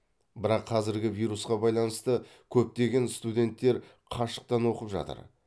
бірақ қазіргі вирусқа байланысты көптеген студенттер қашықтан оқып жатыр